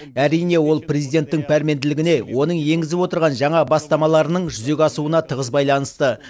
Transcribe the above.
әрине ол президенттің пәрменділігіне оның енгізіп отырған жаңа бастамаларының жүзеге асуына тығыз байланысты